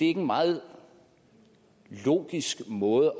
en meget logisk måde